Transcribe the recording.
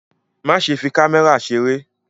Má ṣe fi kámẹ́rà ṣeré!